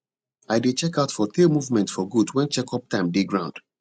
i dey check out for tail movement for goat when check up time dey ground